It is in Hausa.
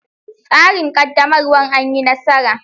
Tsarin ƙaddamarwar an yi nasara.